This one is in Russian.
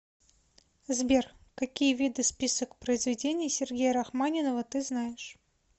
сбер какие виды список произведений сергея рахманинова ты знаешь